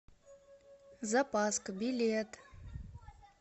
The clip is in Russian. запаска билет